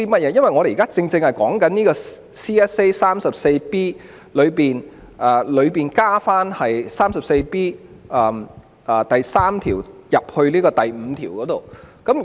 我現在說的正是有關 CSA， 即在第 34B5 條加入第 34B3 條的情況。